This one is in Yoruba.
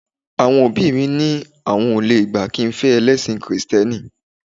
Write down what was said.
Àwọn òbí mi ni àwọn ò lè gbà kí n fẹ́ ẹlẹ́sìn kìrìtẹ́nì